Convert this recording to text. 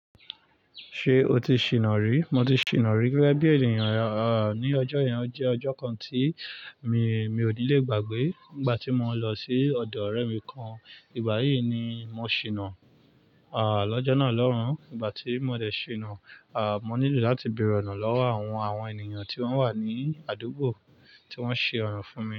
Ṣé o ti ṣìnà rí? Mo ti ṣìnà rí gẹ́gẹ́ bí ènìyàn, ah, ní ọjọ́ yẹn jẹ́ ọjọ́ kan tí mi, mi ò ní lè gbàgbé. Nígbà tí mo lọ sí ọ̀dọ̀ ọ̀rẹ́ mi kan, ìgbà yíì ni mo ṣìnà, ah, lọ́jọ́ náà lọ́hùn ún. Nígbà tí mo dẹ̀ ṣìnà, ah, mo nílò láti bẹ̀rẹ̀ ọ̀nà lọ́wọ́ àwọn, àwọn ènìyàn tí wọ́n wà ní àdúgbò tí wọ́n ṣe ọ̀rọ̀ fún mi.